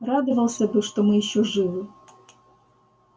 радовался бы что мы ещё живы